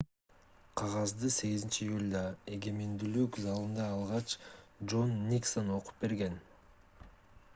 кагазды 8-июлда эгемендүүлүк залында алгач жон никсон окуп берген